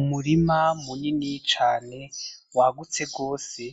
Umurima munini cane wagutse gose,